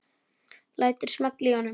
Lætur smella í honum.